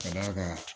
Ka d'a kan